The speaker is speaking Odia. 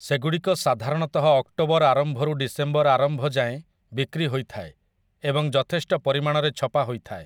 ସେଗୁଡ଼ିକ ସାଧାରଣତଃ ଅକ୍ଟୋବର ଆରମ୍ଭରୁ ଡିସେମ୍ବର ଆରମ୍ଭ ଯାଏଁ ବିକ୍ରି ହୋଇଥାଏ ଏବଂ ଯଥେଷ୍ଟ ପରିମାଣରେ ଛପା ହୋଇଥାଏ ।